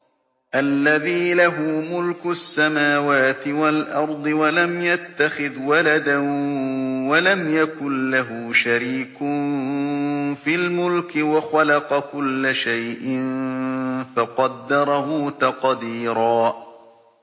الَّذِي لَهُ مُلْكُ السَّمَاوَاتِ وَالْأَرْضِ وَلَمْ يَتَّخِذْ وَلَدًا وَلَمْ يَكُن لَّهُ شَرِيكٌ فِي الْمُلْكِ وَخَلَقَ كُلَّ شَيْءٍ فَقَدَّرَهُ تَقْدِيرًا